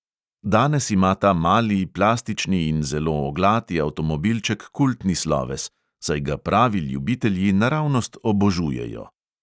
Danes ima ta mali, plastični in zelo oglati avtomobilček kultni sloves, saj ga pravi ljubitelji naravnost obožujejo.